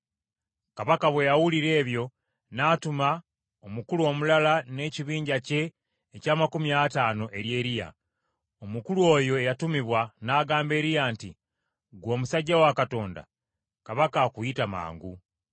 Kabaka bwe yawulira ebyo n’atuma omukulu omulala n’ekibinja kye eky’amakumi ataano eri Eriya. Omukulu oyo eyatumibwa n’agamba Eriya nti, “Ggwe omusajja wa Katonda, kabaka akuyita mangu.”p